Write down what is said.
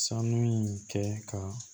Sanu in kɛ ka